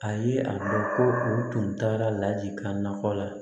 A ye a dɔn ko u tun taara lajigin na o la